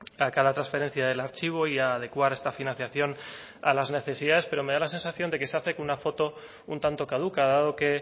a cada transferencia del archivo y a adecuar esta financiación a las necesidades pero me da la sensación de que se hace con una foto un tanto caduca dado que